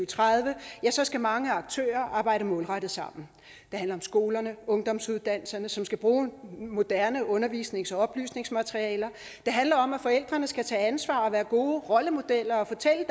tredive så skal mange aktører arbejde målrettet sammen det handler om skolerne om ungdomsuddannelserne som skal bruge moderne undervisnings og oplysningsmaterialer det handler om at forældrene skal tage ansvar og være gode rollemodeller og fortælle